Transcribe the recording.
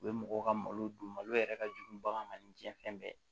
U ye mɔgɔw ka malo dun malo yɛrɛ ka jugu bagan ma ni diɲɛ fɛn bɛɛ